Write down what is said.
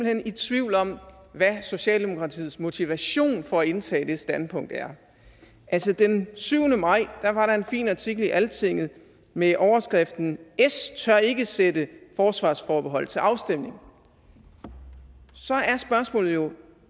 hen i tvivl om hvad socialdemokratiets motivation for at indtage det standpunkt er altså den syvende maj var der en fin artikel i altinget med overskriften s tør ikke sætte forsvarsforbehold til afstemning så er spørgsmålet jo